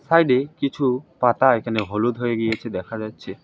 সাইডে কিছু পাতা এখানে হলুদ হয়ে গিয়েছে দেখা যাচ্ছে।